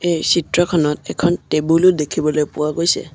এই চিত্ৰখনত এখন টেবুলো দেখিবলৈ পোৱা গৈছে।